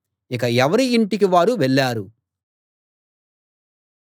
ఇక ఎవరి ఇంటికి వారు వెళ్ళారు